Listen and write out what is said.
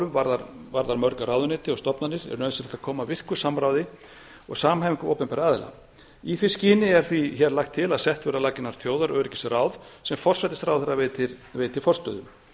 öryggismálum varðar mörg ráðuneyti og stofnanir er nauðsynlegt að koma á virku samráði og samhæfingu opinberra aðila í því skyni er því hér lagt til að sett verði á laggirnar þjóðaröryggisráð sem forsætisráðherra veitir forstöðu